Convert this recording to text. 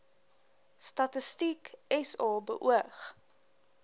statistiek sa beoog